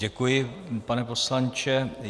Děkuji, pane poslanče.